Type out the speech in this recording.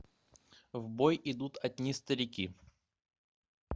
в бой идут одни старики